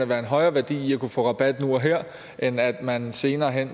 være en højere værdi i at kunne få rabat nu og her end at man senere hen